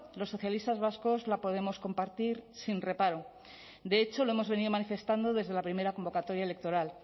los socialistas vascos la podemos compartir sin reparo de hecho lo hemos venido manifestando desde la primera convocatoria electoral